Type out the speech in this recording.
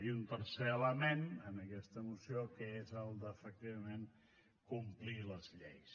i un tercer element en aquesta moció que és el d’efectivament complir les lleis